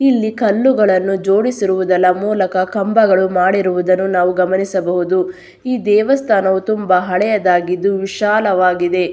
ಇಲ್ಲಿ ಕಲ್ಲುಗಳನ್ನು ಜೋಡಿಸಿರುದೆಲ್ಲಾ ಮೂಲಕ ಕಂಬಗಳು ಮಾಡಿರುವುದನ್ನು ನಾವು ಗಮನಿಸಬಹುದು ಈ ದೇವಸ್ಥಾನವು ತುಂಬಾ ಹಳೆಯದಾಗಿದ್ದು ವಿಶಾಲವಾಗಿದೆ.